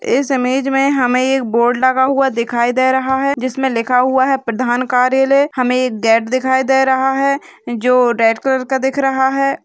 इस इमेज में हमें एक बोर्ड लगा हुआ दिखाई दे रहा है जिसमे लिखा हुआ है प्रधान कार्यालय| हमें एक गेट दिखाई दे रहा है जो रेड कलर का दिख रहा है|